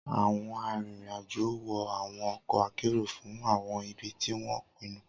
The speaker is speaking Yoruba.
Awọn arinrin-ajo wọ awọn ọkọ akero fun awọn ibi ti wọn pinnu.